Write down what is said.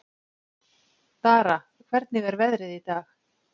Dara, hvernig er veðrið í dag?